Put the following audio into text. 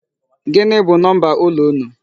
Gịnị bụ number ụlọ unu?